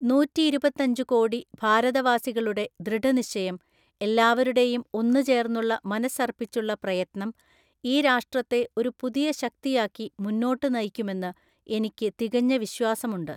നൂറ്റിയിരുപത്തിയഞ്ചു കോടി ഭാരതവാസികളുടെ ദൃഢനിശ്ചയം, എല്ലാവരുടെയും ഒന്നുചേർന്നുള്ള മനസ്സർപ്പിച്ചുള്ള പ്രയത്നം, ഈ രാഷ്ട്രത്തെ ഒരു പുതിയ ശക്തിയാക്കി മുന്നോട്ട് നയിക്കുമെന്ന് എനിക്ക് തികഞ്ഞ വിശ്വാസമുണ്ട്.